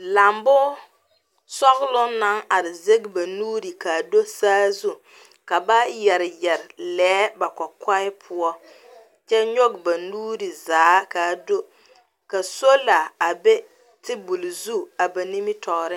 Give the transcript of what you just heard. Lambo sͻgeloŋ naŋ are zege ba nuuri kaa do saazu ka ba yԑre yԑre lԑԑ ba kͻkͻԑ poͻ kyԑ nyͻge ba nuuri zaa ka a doka sola be tebole zu a ba nimitͻͻre.